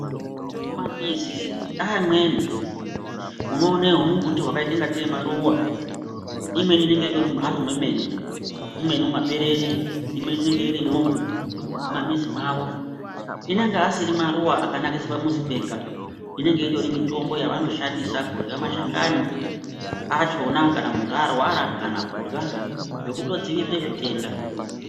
Mumamizi eamweni unoone humumbuti hwakaita ingatei humaruwa imweni inenge itori mumhatso mwemene imweni mumaperere imweni inenge irimwo mumamizi mwawo inenge asiri maruwa akanakisa pamuzi zvega. Inenge itori mitombo yavanoshandisa kurya mashakani achona kana muntu arwara kana kurya nekutodzivirira zvitenda.